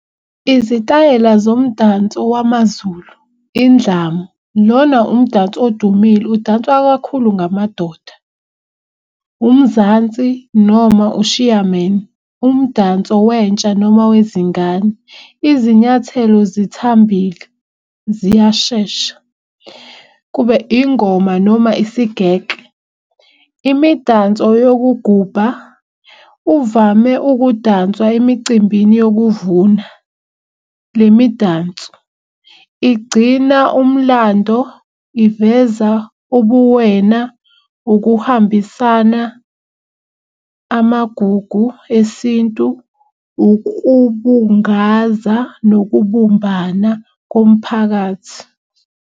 Izitayela zomdanso wamaZulu indlamu, lona umdanso odumile udanswa kakhulu ngamadoda. Umzansi noma ushiyameni umdanso wentsha noma wezingane izinyathelo zithambile ziyashesha. Kube ingoma noma isigekle, imidanso yokugubha uvame ukudanswa emicimbini yokuvuna. Le midanso igcina umlando, iveza ubuwena, ukuhambisana amagugu esintu, ukubungaza nokubumbana komphakathi.